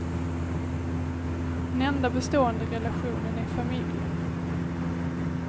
Den enda bestående relationen är familjen.